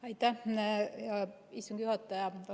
Aitäh, hea istungi juhataja!